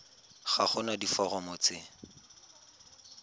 ga go na diforomo tse